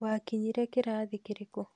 Wakinyire kĩrathi kĩrĩkũ?